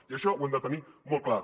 i això ho hem de tenir molt clar